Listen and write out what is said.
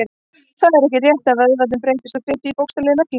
Það er ekki rétt að vöðvarnir breytist í fitu í bókstaflegri merkingu.